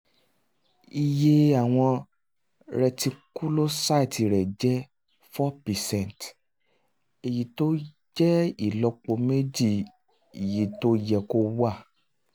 iye àwọn reticulocytes rẹ̀ jẹ́ four percent èyí tó jẹ́ ìlọ́po méjì iye tó yẹ kó wà